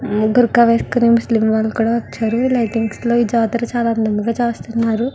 బుర్కా వేసుకొని ముస్లిం వాళ్ళు కూడా వచ్చారు. లైటింగ్స్ లో ఈ జాతర చాలా అందంగా చేస్తున్నారు.